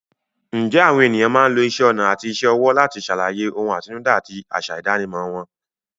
Ǹjẹ́ àwọn ènìyàn máa ń lo isẹ́ ọnà àti iṣẹ́ ọwọ́ láti ṣàlàyé ohun àtinúdá àti àṣà ìdánimọ̀ wọn?